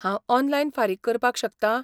हांव ऑनलायन फारीक करपाक शकतां?